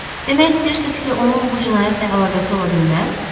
Demək istəyirsiz ki, onun bu cinayətlə əlaqəsi ola bilməz?